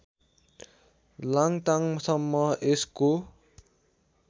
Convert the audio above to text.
लाङ्टाङसम्म यसको